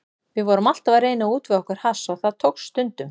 Við vorum alltaf að reyna að útvega okkur hass og tókst það stundum.